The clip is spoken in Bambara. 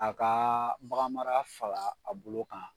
A kaa bagan mara fara a bolo kan